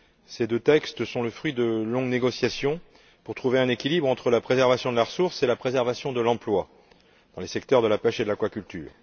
Ces deux textes sont le fruit de longues négociations pour trouver un équilibre entre la préservation de la ressource et la préservation de l'emploi dans les secteurs de la pêche et de l'aquaculture.